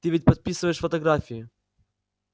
ты ведь подписываешь фотографии